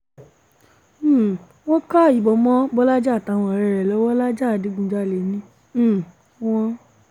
um wọ́n ka ìbọn mọ́ bọ́lajì àtàwọn ọ̀rẹ́ rẹ̀ lọ́wọ́ lajah adigunjalè ni um wọ́n